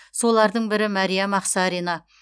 солардың бірі мәриям ақсарина